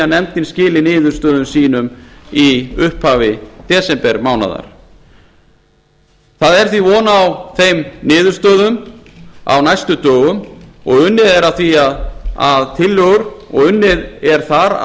að nefndin skili niðurstöðum sínum í upphafi desembermánaðar því er von á þeim niðurstöðum á næstu dögum og er þar unnið að því